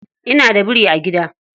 Ina da biri a gida.